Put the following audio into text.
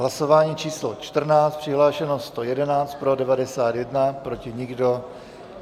Hlasování číslo 14, přihlášeno 111, pro 91, proti nikdo.